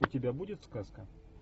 у тебя будет сказка